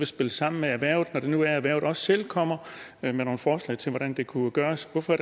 spille sammen med erhvervet når det nu er at erhvervet også selv kommer med nogle forslag til hvordan det kunne gøres hvorfor